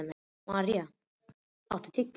Maríam, áttu tyggjó?